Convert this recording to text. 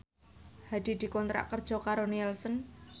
Hadi dikontrak kerja karo Nielsen